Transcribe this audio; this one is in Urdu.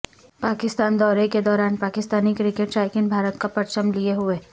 پاکستان دورے کے دوران پاکستانی کرکٹ شائقین بھارت کا پرچم لیے ہوئے